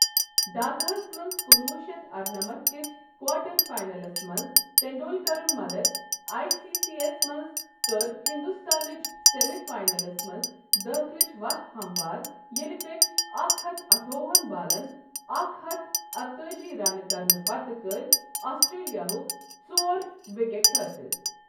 ڈھاکہس منٛز کُنوُہ شیتھ ارنمتھ کِس کوارٹر فائنلس منٛز ٹنڈولکرُن مدتھ آئی سی سی یَس منٛز کٔر ہندوستانٕچ سیمہٕ فاینلس منٛز داخلٕچ وتھ ہموار ییٚلہ تٔمۍ اکھ ہتھ اٹھووہن بالن اکھ ہتھ اکتأجی رنہٕ کرنہٕ پتہٕ کٔرٕنۍ آسٹریلیا ہٕکۍ ژور وکٹیں حٲصِل۔